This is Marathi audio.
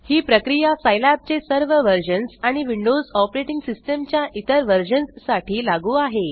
ही प्रक्रिया सिलाब चे सर्व वर्जन्स आणि विंडोज ऑपरेटिंग सिस्टम च्या इतर वर्जन्स साठी लागू आहे